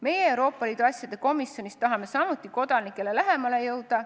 Meie Euroopa Liidu asjade komisjonis tahame samuti kodanikele lähemale jõuda.